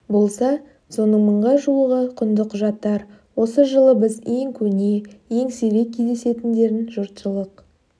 болса соның мыңға жуығы құнды құжаттар осы жолы біз ең көне ең сирек кездесетіндерін жұртшылық